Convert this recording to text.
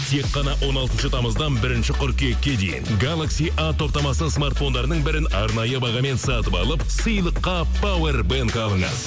тек қана он алтыншы тамыздан бірінші қыркүйекке дейін галакси а топтамасы смартфондарының бірін арнайы бағамен сатып алып сыйлыққа пауэрбэнг алыңыз